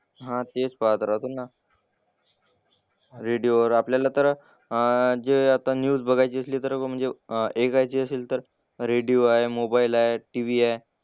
हां तेच पाहत राहते ना. रेडिओवर आपल्याला तर अह जे आता न्यूज बघायची असली तर म्हणजे अह ऐकायची असेल तर रेडिओ आहे, मोबाईल आहेत, TV आहे.